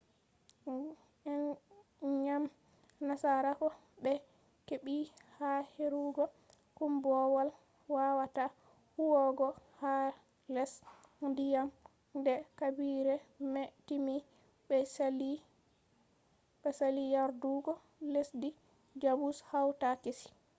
ngam nasarako ɓe heɓɓi ha kerugo koombowal wawata huwugo ha les diyam nde habire mai timmi be sali yardugo lesdi jamus hawta kesi